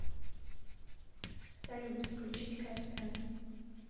салют включить кэпстэн